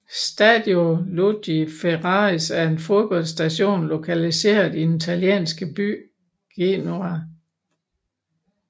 Stadio Luigi Ferraris er et fodboldstadion lokaliseret i den italienske by Genoa